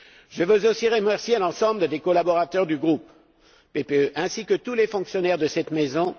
Je veux aussi remercier l'ensemble des collaborateurs du groupePPE, ainsi que tous les fonctionnaires de cette maison.